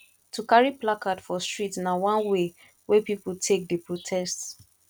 to carry placard for street na one way wey pipo take dey protest